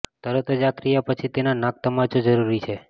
તરત જ આ ક્રિયા પછી તેના નાક તમાચો જરૂરી છે